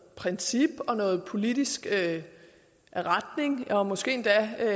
princip og noget politisk retning og måske endda